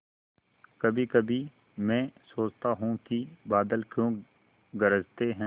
कभीकभी मैं सोचता हूँ कि बादल क्यों गरजते हैं